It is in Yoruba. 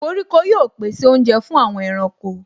Koríko yóò pèsè oúnjẹ fún àwọn ẹranko.